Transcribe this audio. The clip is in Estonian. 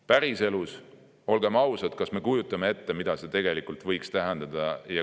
Päriselus, olgem ausad, kas me kujutame ette, mida see tegelikult võiks tähendada?